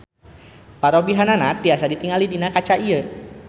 Parobihanana tiasa ditingali dina kaca ieu.